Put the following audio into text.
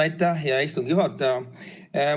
Aitäh, hea istungi juhataja!